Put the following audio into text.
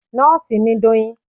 Nóòsì ni Doyin